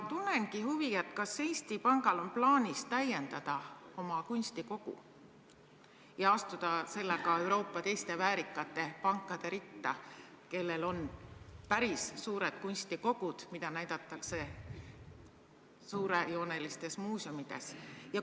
Tunnengi huvi, kas Eesti Pangal on plaanis täiendada oma kunstikogu ja astuda sellega Euroopa teiste väärikate pankade ritta, kellel on päris suured kunstikogud, mida näidatakse suurejoonelistes muuseumides?